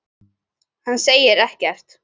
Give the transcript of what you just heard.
Hann segir ekkert.